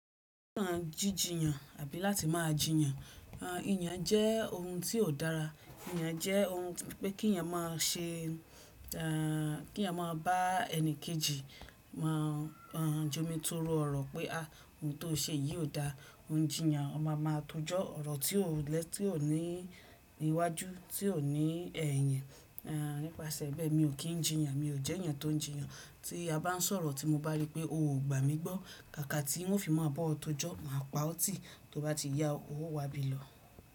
Kí á jí jiyàn àbí láti máa jìyàn, iyàn jẹ́ ohun tí ò dára. Iyàn jẹ́ ohun tó pé kí èèyàn mọ ṣe, kí èèyàn mọ bá ẹni kejì mọ jomitoro ọ̀rọ̀ pé a ohun tí ó ṣe yìí ò da. Òun jiyàn ó máa máa tọ́jọ, ọ̀rọ̀ tí ò ní iwájú, tí ò ní ẹ̀yìn. Nípasẹ̀ bẹ́ẹ̀ mi ò kí ń jìyàn, mi ò jẹ́ èèyàn tó ń jìyàn. Tí a bá ń sọ̀rọ̀ tí mo bá rí pé o ò gbà mí gbọ́, kàkà tí wọ́n fi máa bọ́ ọ tó jọ, màá pa ọ́ tì tí o bá ti yá ọ, o wá bí lọ.